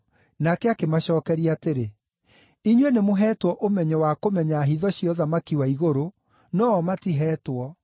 Nake akĩmacookeria atĩrĩ, “Inyuĩ nĩmũheetwo ũmenyo wa kũmenya hitho cia ũthamaki wa igũrũ, no-o matiheetwo.